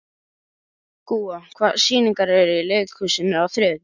Gúa, hvaða sýningar eru í leikhúsinu á þriðjudaginn?